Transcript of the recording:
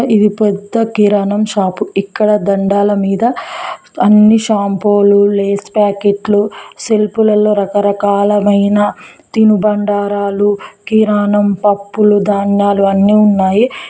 ఇది పెద్ద కిరాణం షాపు ఇక్కడ దండాల మీద అన్ని షాంపూ లు లేస్ ప్యాకెట్లు సెల్పు లలో రకరకాలమైన తినుబండారాలు కిరాణం పప్పులు ధాన్యాలు అన్నీ ఉన్నాయి.